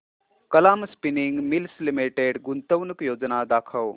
Kalam spinning mills limited गुंतवणूक योजना दाखव